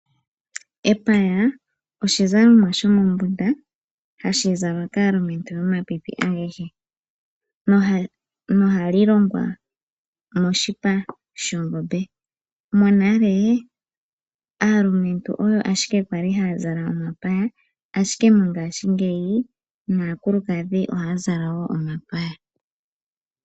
Epaya oshizalomwa shomombunda hashi zalwa kaalumentu yomapipi agehe, nohali longwa moshipa shongombe. Monale, aalumentu oyo ashike kwali haya zala omapaya, ashike mongaashingeyi naakulukadhi ohaya zala woo omapaya.